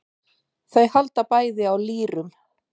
Þau halda bæði á lýrum.